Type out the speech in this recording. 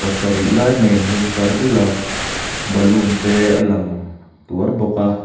pasarih lai mai an hung tlar dul a balloon te a lang tuar bawk a.